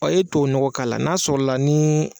i ye tuwawu ɲɔgɔ k'a la n'a sɔrɔla nii